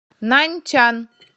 наньчан